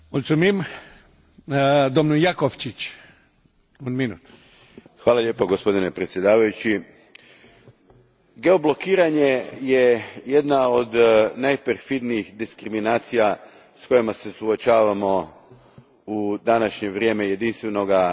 Gospodine predsjedniče, geoblokiranje je jedna od najperfidnijih diskriminacija s kojima se suočavamo u današnje vrijeme jedinstvenog tržišta i jedna je od najvećih prepreka